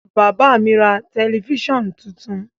Bàbá mi ra tẹlifíṣàn tuntun.